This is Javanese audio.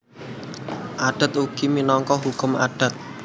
Adat ugi minangka hukum adat